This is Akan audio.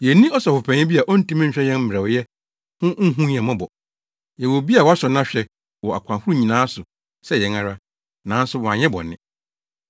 Yenni Ɔsɔfopanyin bi a ontumi nhwɛ yɛn mmerɛwyɛ ho nhu yɛn mmɔbɔ. Yɛwɔ obi a wɔasɔ no ahwɛ wɔ akwan ahorow nyinaa so sɛ yɛn ara, nanso wanyɛ bɔne.